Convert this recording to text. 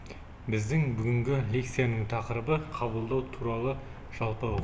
біздің бүгінгі лекцияның тақырыбы қабылдау туралы жалпы